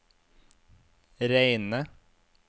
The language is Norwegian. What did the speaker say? Reine